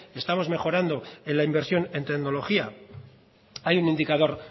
estamos mejorando en la inversión en tecnología hay un indicador